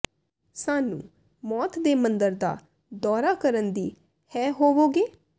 ਸਾਨੂੰ ਮੌਤ ਦੇ ਮੰਦਰ ਦਾ ਦੌਰਾ ਕਰਨ ਦੀ ਹੈ ਹੋਵੋਗੇ